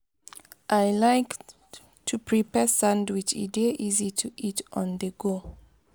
i like to prepare sandwich; e dey easy to eat on-the-go.